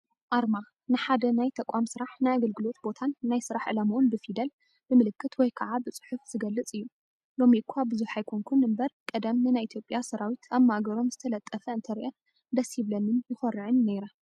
ኣርማ፡- ንሓደ ናይ ተቋም ስራሕ ፣ ናይ ኣገልግሎት ቦታን ናይ ስራሕ ዕላምኡን ብፊደል፣ ብምልክት ወይ ከዓ ብፅሑፍ ዝገልፅ እዩ፡፡ ....ሎሚ እኳ ብዙሕ ኣይኮንኩን እምበር ቀደም ንናይ ኢ/ያ ሰራዊት ኣብ ማእገሮም ዝተለጠፈ እንተሪአ ደስ ይብለንን ይኾርዕን ነይረ....